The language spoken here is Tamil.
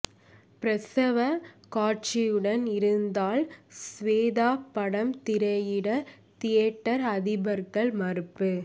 பிரசவ காட்சியுடன் இருந்தால் சுவேதா படம் திரையிட தியேட்டர் அதிபர்கள் மறுப்பு